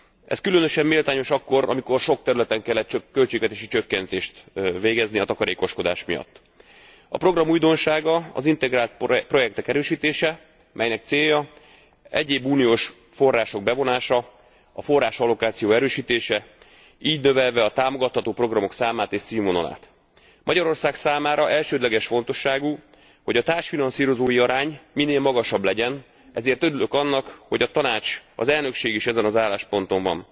Ez különösen méltányos akkor, amikor sok területen kellett költségvetési csökkentést végrehajtani a takarékoskodás miatt. A program újdonsága az integrált projektek erősítése, aminek célja egyéb uniós források bevonása, a forrásallokáció erősítése, így növelve a támogatható programok számát és színvonalát. Magyarország számára elsődleges fontosságú, hogy a társfinanszírozói arány minél magasabb legyen, ezért örülök annak, hogy a Tanács, a soros elnökség is ezen az állásponton van.